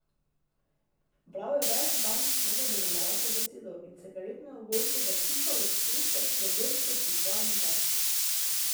Bral je ves dan, ne da bi nam rekel besedo, in cigaretne ogorke zapikoval v pesek v vrsto po dva in dva.